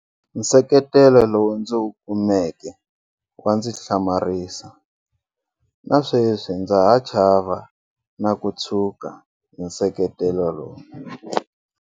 Nseketelo lowu ndzi wu kumeka wa ndzi hlamarisa. Na sweswi ndza ha chava na ku tshuka hi nseketelo lowu.